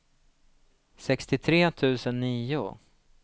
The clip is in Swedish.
sextiotre tusen nio